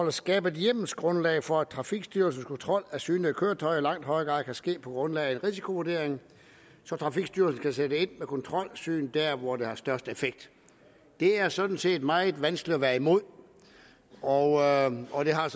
at skabe et hjemmelsgrundlag for at trafikstyrelsens kontrol af synede køretøjer i langt højere grad kan ske på grundlag af en risikovurdering så trafikstyrelsen kan sætte ind med kontrolsyn der hvor der er størst effekt det er sådan set meget vanskeligt at være imod og og det har